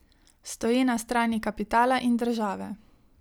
Stoji na strani kapitala in države.